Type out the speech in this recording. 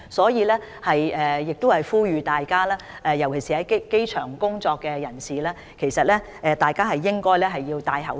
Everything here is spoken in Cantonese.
因此，我呼籲大家，尤其是在機場工作的人士，應該戴上口罩。